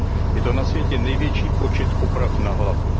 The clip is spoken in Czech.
Je to na světě největší počet poprav na hlavu.